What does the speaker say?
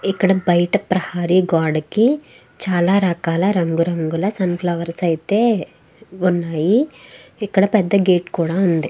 ఇక్కడ బయట ప్రహరీ గోడకి చాల రకాల రంగు రంగుల సన్ఫ్లవర్స్ అయతె వున్నాయి. ఇక్కడ పెద్ద గేట్ కూడా ఉంది.